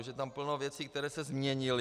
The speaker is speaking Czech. Už je tam plno věcí, které se změnily.